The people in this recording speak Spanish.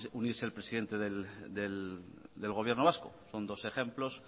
unirse el presidente del gobierno vasco son dos ejemplos